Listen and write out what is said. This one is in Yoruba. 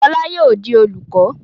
Fọlá yóò di olùkọ́!